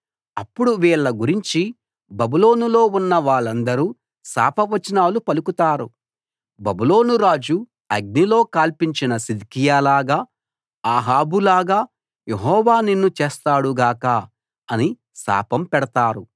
అప్పుడు వీళ్ళ గురించి బబులోనులో ఉన్న వాళ్ళందరూ శాపవచనాలు పలుకుతారు బబులోను రాజు అగ్నిలో కాల్పించిన సిద్కియాలాగా అహాబులాగా యెహోవా నిన్ను చేస్తాడు గాక అని శాపం పెడతారు